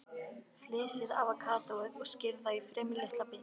Flysjið avókadóið og skerið það í fremur litla bita.